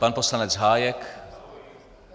Pan poslanec Hájek.